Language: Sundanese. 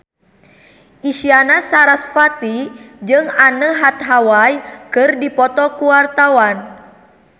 Isyana Sarasvati jeung Anne Hathaway keur dipoto ku wartawan